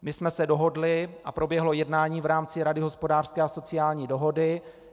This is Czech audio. My jsme se dohodli a proběhlo jednání v rámci Rady hospodářské a sociální dohody.